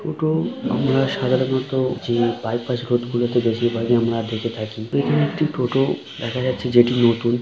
টোটো আমরা সাধারণত যে বাইপাস গুলোতে বেশিরভাগই আমরা দেখে থাকি এখানে একটি টোটো দেখা যাচ্ছে যেটি নতুন।